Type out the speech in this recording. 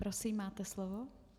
Prosím, máte slovo.